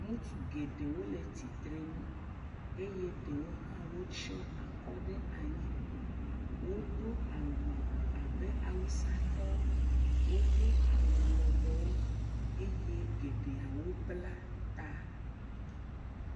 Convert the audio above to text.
Ŋutsu gŋɖewo le tsitre nu ey e ɖewo hã tsyɔe akɔ ɖe anyi. Wodo awu abe awusatɔwo. Wodo awu lɔbɔwo eye geɖewo bla ta.